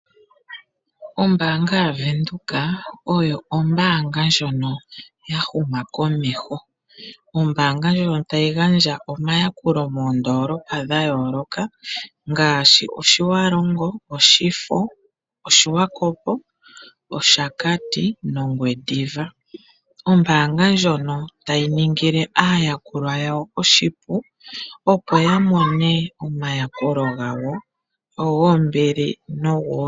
Ombaanga yaVenduka oyo ombaanga ndjono ya huma komeho . Ombaanga ndjono tayi gandja omayakulo moondolopa dha yooloka ngaashi Otjiwarongo, Oshifo, Swakopmund, Oshakati nOngwediva. Ombaanga ndjono tayi ningile aayakulwa yawo oshipu, opo ya mone omayakulo gawo.